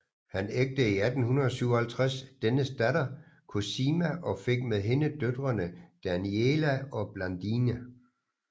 Han ægtede i 1857 dennes datter Cosima og fik med hende døtrene Daniela og Blandine